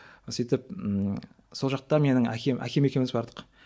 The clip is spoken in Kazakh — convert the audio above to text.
сөйтіп ыыы сол жақта менің әкем әкем екеуміз бардық